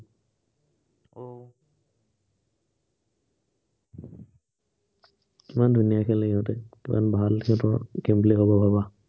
কিমান ধুনীয়া খেলে সিহঁতে, কিমান ভাল সিহঁতৰ, কি বুলি ভাবা ভাবা